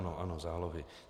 Ano, ano, zálohy.